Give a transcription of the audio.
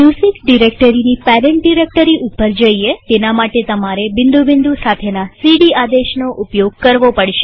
music ડિરેક્ટરીની parent directory ઉપર જઈએતેના માટે તમારે બિંદુ બિંદુ સાથેના સીડી આદેશનો ઉપયોગ કરવો પડશે